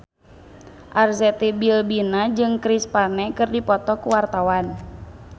Arzetti Bilbina jeung Chris Pane keur dipoto ku wartawan